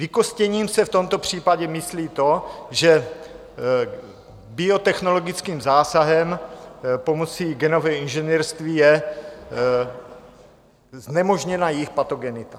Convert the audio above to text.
Vykostěním se v tomto případě myslí to, že biotechnologickým zásahem pomocí genového inženýrství je znemožněna jejich patogenita.